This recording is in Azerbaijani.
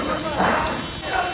Mən normal durmuşam.